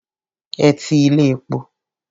Ẹ ti ilé epo.